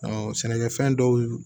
sɛnɛkɛfɛn dɔw